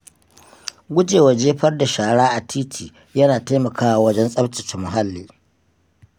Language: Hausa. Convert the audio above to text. Gujewa jefar da shara a titi yana taimakawa wajen tsaftace muhalli.